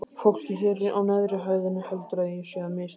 Fólkið hér á neðri hæðinni heldur að ég sé að misþyrma þér